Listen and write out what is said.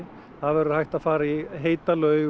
það verður hægt að fara í heita laug